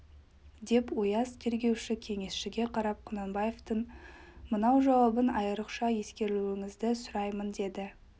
деп ояз тергеуші кеңесшіге қарап құнанбаевтың мынау жауабын айрықша ескерулеріңізді сұраймын деді